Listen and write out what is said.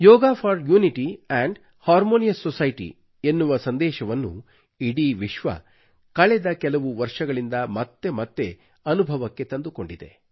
yoga for unity ಮತ್ತು harmonious society ಎನ್ನುವ ಸಂದೇಶವನ್ನು ಇಡೀ ವಿಶ್ವವು ಕಳೆದ ಕೆಲವು ವರ್ಷಗಳಿಂದ ಮತ್ತೆ ಮತ್ತೆ ಅನುಭವಕ್ಕೆ ತಂದುಕೊಂಡಿದೆ